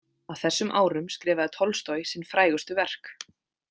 Á þessum árum skrifaði Tolstoj sín frægustu verk.